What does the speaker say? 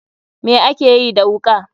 Me akeyi da wuka.